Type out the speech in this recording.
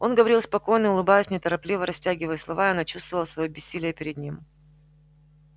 он говорил спокойно улыбаясь неторопливо растягивая слова она чувствовала своё бессилие перед ним